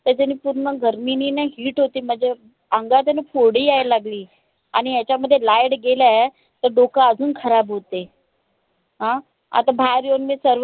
त्याच्यांनी पूर्ण गर्मीनीन heat होते माझ्या अंगात आहे न फोडी या लागली. आणि यांच्यामध्ये light गेलाय. त डोकं अजून खराब होते. अं आता बाहेर येऊन मी